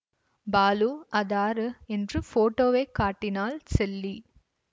பாலுஅதாரு என்று போட்டோவைக் காட்டினாள் செல்லி